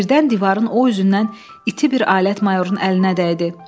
Birdən divarın o üzündən iti bir alət mayorun əlinə dəydi.